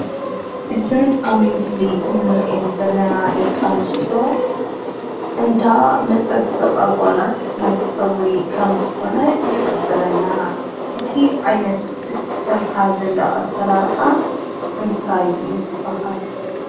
እዘን ኣብ ምስሊ እንሪአን ዘለና ደቂ ኣንስትዮ እንዳ መፀበቂ ኣጓላት ናይ ፀጉሪ ከም ዝኮነ ይሕብረና። እቲ ዓይነት እትሰርሓ ዘላ ኣሰራርሓ እንታይ ይበሃል?